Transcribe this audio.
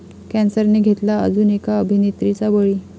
कॅन्सरने घेतला अजून एका अभिनेत्रीचा बळी